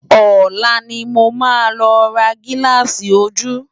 Òlá ni mó má lò rá gilási ójú